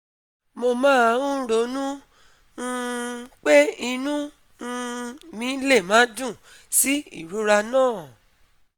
mo máa ń ronú um pé inú um mi lè má dùn sí ìrora náà